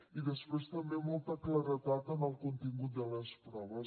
i després també molta claredat en el contingut de les proves